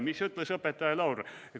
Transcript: Mida ütles õpetaja Laur?